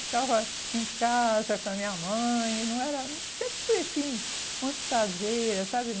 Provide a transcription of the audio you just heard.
Ficava em casa com a minha mãe, não era, sempre fui, assim, muito caseira, sabe?